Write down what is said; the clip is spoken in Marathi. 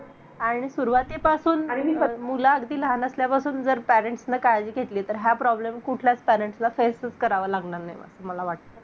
Target नाही आपला आपण पुस्तक घेतलं वाचलं दोन मिनिटं पाच मिनिट वाचलं हो आपण बोर होऊन जातो जेणेकरून आपल्या डोक्यात तेच असायला पाहिजे की मला ते करायचं आणि करायचं आहे .